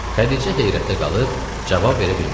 Xədicə heyrətdə qalıb cavab verə bilmədi.